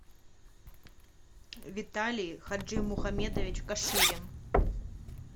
виталий хаджимухамедович каширин